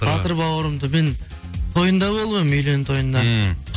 батыр бауырымды мен тойында болып едім үйлену тойында ммм